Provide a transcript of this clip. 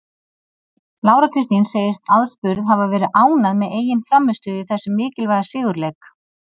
Lára Kristín segist aðspurð hafa verið ánægð með eigin frammistöðu í þessum mikilvæga sigurleik.